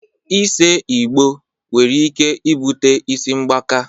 Ise Igbo nwere ike ibute isi mgbaka